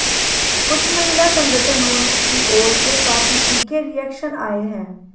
कुछ महिला संगठनों की ओर से काफी तीखे रियेक्शन आये हैं